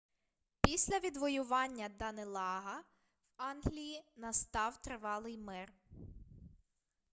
після відвоювання данелага в англії настав тривалий мир